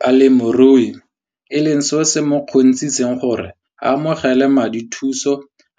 Balemirui e leng seo se mo kgontshitseng gore a amogele madithuso